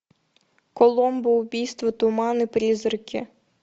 коломбо убийство туман и призраки